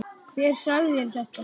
Hver sagði þér þetta?